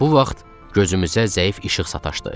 Elə bu vaxt gözümüzə zəif işıq sataşdı.